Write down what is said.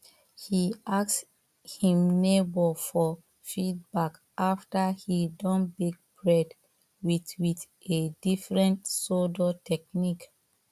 he ask him neighbor for feedback after he don bake bread with with a different sourdough technique